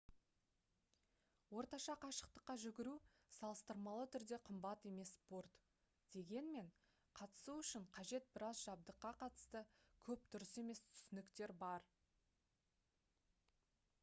орташа қашықтыққа жүгіру салыстырмалы түрде қымбат емес спорт дегенмен қатысу үшін қажет біраз жабдыққа қатысты көп дұрыс емес түсініктер бар